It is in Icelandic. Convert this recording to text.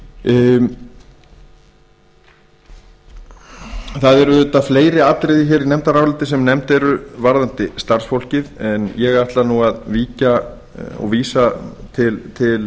það eru auðvitað fleiri atriði hér í nefndaráliti sem nefnd eru varðandi starfsfólkið en ég ætla nú að víkja að og vísa til